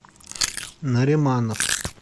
нариманов